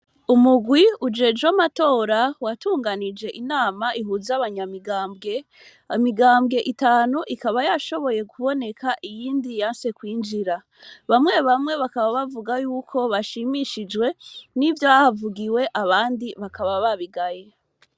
Umugwi ujejwe amatora watunganije inama ihuza abanyamigambwe imagambwe itanu ikaba yashoboye kuboneka iyindi ikaba yanse kwinjira bamwe bamwe bakaba bavuga yuko bashimishijwe n' ivyahavugiwe abandi bakaba babigaye.